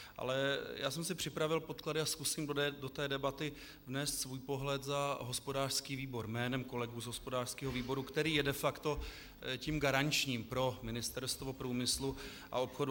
Ale já jsem si připravil podklady a zkusím do té debaty vnést svůj pohled za hospodářský výbor jménem kolegů z hospodářského výboru, který je de facto tím garančním pro Ministerstvo průmyslu a obchodu.